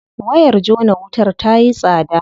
Wayar jona wutar tayi tsada.